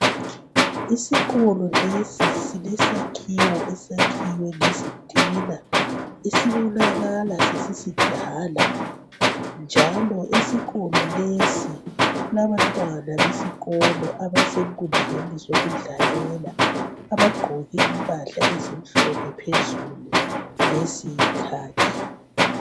Isikolo lesi silesakhiwo esakhiwe ngezitina esibonakala sesisidala njalo esikolo lesi kulabantwana besikolo abasenkundleni zokudlalela abagqoke impahla ezimhlophe phezulu leziyikhakhi.